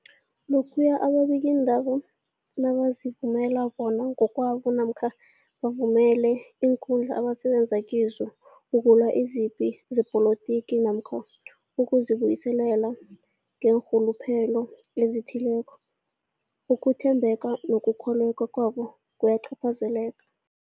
Lokhuya ababikiindaba nabazivumela bona ngokwabo namkha bavumele iinkundla abasebenza kizo ukulwa izipi zepolitiki namkha ukuzi buyiselela ngeenrhuluphelo ezithileko, ukuthembeka nokukholweka kwabo kuyacaphazeleka.